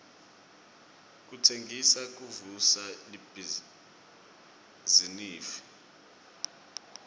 kutsengisa kuvusa libhizinifi